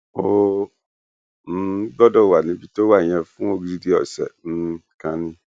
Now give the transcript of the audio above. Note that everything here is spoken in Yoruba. ó um gbọdọ wà níbi tó wà yẹn fún odidi ọsẹ um kan ni